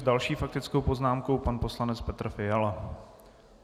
S další faktickou poznámkou pan poslanec Petr Fiala.